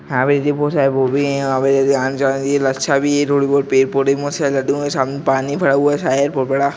बहुत सारे गोभी हैं यहाँ पे आने-जाने के लिए लच्छा भी है रोड वो पेड़-पोधे मस्त है| पानी भरा हुआ है। साईड में बहुत बड़ा--